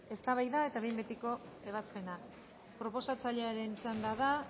eztabaida eta behin betiko ebazpena proposatzailearen txanda da